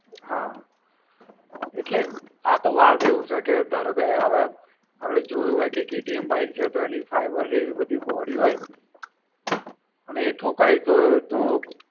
હા. એટલે, આતો વાત એવું છે કે ધારોકે હવે આપણે જોયું હોય કે KTM bike છે તો એની fiber ને એવી બધી body હોય, અને એ ઠોકાય તો તો.